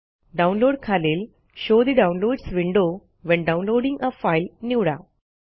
download खालील show ठे downloads window when downloading a file निवडा